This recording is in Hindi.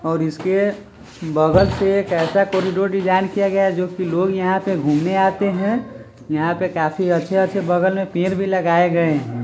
--और इसके बगल से एक ऐसा कॉरीडोर डिज़ाइन किया गया है जो की लोग यहां पे घूमने आते हैं यहां पे काफी अच्छे-अच्छे बगल में पेड़ भी लगाए गए हैं।